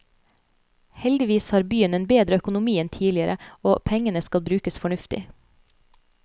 Heldigvis har byen en bedre økonomi enn tidligere, og pengene skal brukes fornuftig.